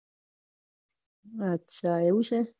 આછા આવું છે.